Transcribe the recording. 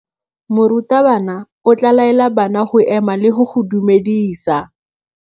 Morutabana o tla laela bana go ema le go go dumedisa.